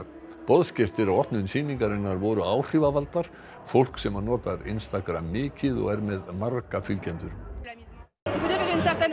boðsgestir á opnun sýningarinnar voru áhrifavaldar fólk sem notar mikið og er með marga fylgjendur og